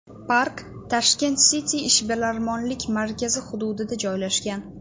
Park Tashkent City ishbilarmonlik markazi hududida joylashgan.